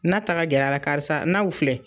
Na ta ka gɛr'a la karisa naw filɛ.